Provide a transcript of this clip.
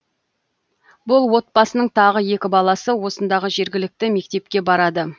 бұл отбасының тағы екі баласы осындағы жергілікті мектепке барады